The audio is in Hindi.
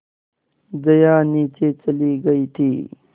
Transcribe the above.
जया नीचे चली गई थी